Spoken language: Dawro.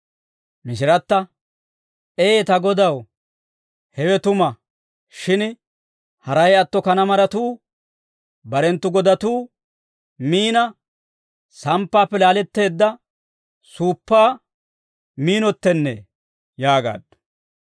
Mishiratta, «Ee ta Godaw, hewe tuma; shin haray atto kanaa maratuu barenttu godatuu miina, samppaappe laaletteedda suuppaa miinottennee» yaagaaddu.